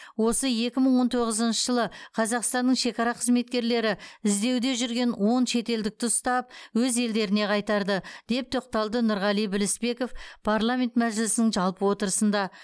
осы екі мың он тоғызыншы жылы қазақстанның шекара қызметкерлері іздеуде жүрген он шетелдікті ұстап өз елдеріне қайтарды деп тоқталды нұрғали білісбеков парламент мәжілісінің жалпы отырысында